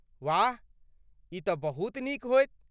वाह, ई तँ बहुत नीक होयत!